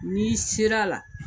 N'i ser'a la.